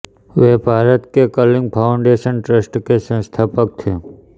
वे भारत के Kalinga foundation trust के संस्थापक थे